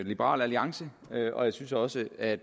liberal alliance og jeg synes også at